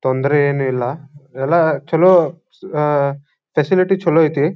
ತೊಂದರೆ ಏನು ಇಲ್ಲ ಎಲ್ಲ ಚಲೋ ಅಹ್ ಅಹ್ ಫೆಸಿಲಿಟಿ ಚಲೋ ಐತೆ.